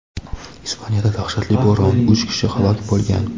Ispaniyada dahshatli bo‘ron: uch kishi halok bo‘lgan.